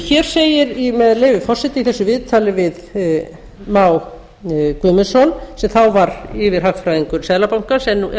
hér segir með leyfi forseta í þessu viðtali við má guðmundsson sem þá var yfirhagfræðingur seðlabankans en er